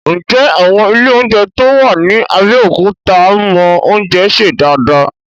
Ǹjẹ́ àwọn ilé oúnjẹ tó wà ní Abẹ́òkúta mọ oúnjẹ sè dáadáa?